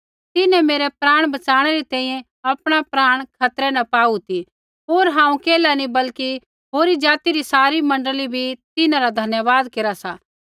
तिन्हैं मेरै प्राण बचाणै री तैंईंयैं आपणा प्राण खतरै न पाऊ ती होर हांऊँ केल्हा नी बल्कि होरी ज़ाति री सारी मण्डली भी तिन्हां रा धन्यवाद केरा सा